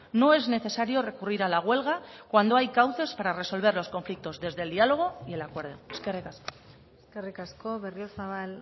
no es necesario recurrir a la huelga cuando hay cauces para resolver los conflictos desde el diálogo y el acuerdo eskerrik asko eskerrik asko berriozabal